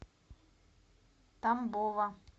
тамбова